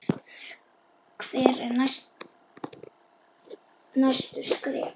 Hver eru næstu skref?